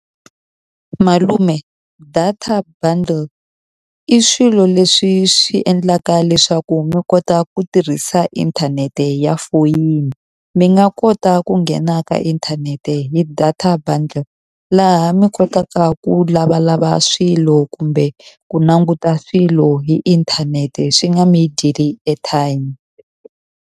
Malume data bundle i swilo leswi swi endlaka leswaku mi kota ku tirhisa inthanete ya foyini. Mi nga kota ku nghena na ka inthanete hi data bundle, laha mi kotaka ku lavalava swilo kumbe ku languta swilo hi inthanete. Swi nga mi dyeli airtime.